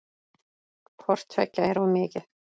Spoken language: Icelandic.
Hvort tveggja er of mikið.